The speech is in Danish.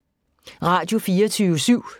Radio24syv